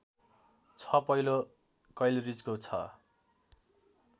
छ पहिलो कैलरीजको छ